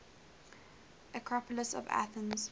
acropolis of athens